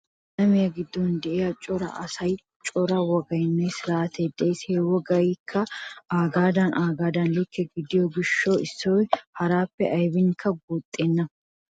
Alamiya giddon de'iya cora asaassi cora wogaynne siraatay de'ees. He wogaykka aagadan aagadan likke gidiyo gishshawu issoy haraappe aybiinikka guuxxenna.